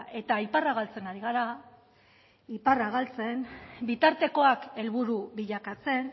eta iparra galtzen ari gara iparra galtzen bitartekoak helburu bilakatzen